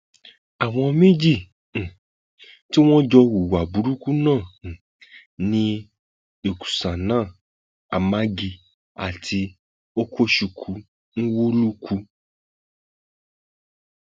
àwọn méjì um tí wọn jọ hùwà burúkú náà um ni uksana amagi àti okuchukwu nwolukwu